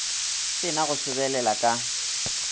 se na go sobelela ka